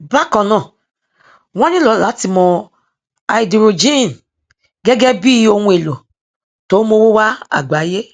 bákan náà wọn nílò láti mọ háídírójìn gẹgẹ bí ohun èlò tó n mówó wá àgbáyé